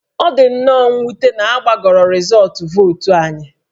Ọ dị nnọọ mwute na a gbagọrọ rịzọọtụ vootu anyị